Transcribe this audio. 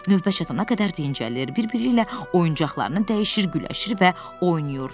Növbə çatana qədər dincəlir, bir-biriylə oyuncaqlarını dəyişir, güləşir və oynayırdılar.